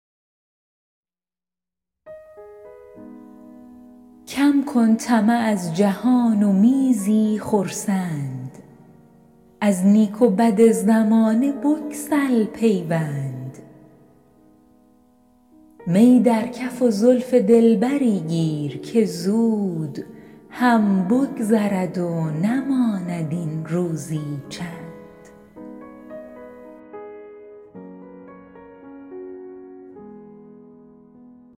کم کن طمع از جهان و می زی خرسند از نیک و بد زمانه بگسل پیوند می در کف و زلف دلبری گیر که زود هم بگذرد و نماند این روزی چند